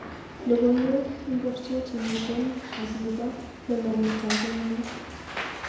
Logoiwek ingircgi chemiten akibo lolonyetab engony